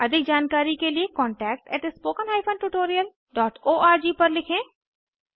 अधिक जानकारी के लिए contactspoken tutorialorg पर लिखें